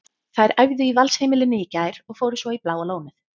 Þær æfðu í Valsheimilinu í gær og fóru svo í Bláa lónið.